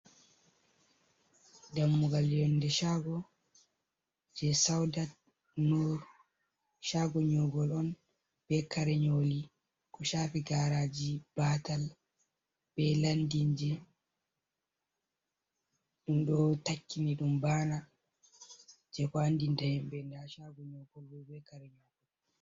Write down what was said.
Dammugal yonde chago je saudat nur, cago nyogol on be kare nyoli, ko chapi garaji, batal, be landin ji ɗum ɗo takkini ɗum bana, je ko andinta himɓɓe nda chago nygol be kare nyogol.